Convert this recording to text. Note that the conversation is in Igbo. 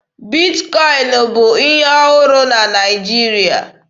Bitkọin bụ ihe ọhụrụ na Naịjirịa